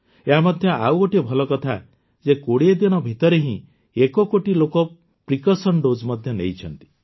ଏହା ମଧ୍ୟ ଆଉ ଗୋଟିଏ ଭଲ କଥା ଯେ ୨୦ ଦିନ ଭିତରେ ହିଁ ଏକ କୋଟି ଲୋକ ପ୍ରିକସନ୍ ଡୋଜ୍ ମଧ୍ୟ ନେଇଛନ୍ତି